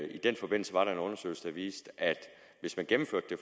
i den forbindelse var der en undersøgelse der viste at hvis man gennemførte det